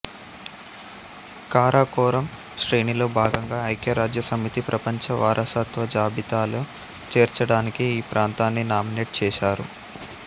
కారకోరం శ్రేణిలో భాగంగా ఐక్యరాజ్యసమితి ప్రపంచ వారసత్వ జాబితాలో చేర్చడానికి ఈ ప్రాంతాన్ని నామినేట్ చేసారు